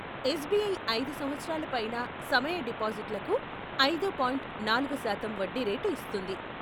SBI ఐదు సంవత్సరాల పైన సమయ డిపాజిట్లకు ఐదు పాయింట్ నాలుగు శాతం వడ్డీ రేటు ఇస్తోంది.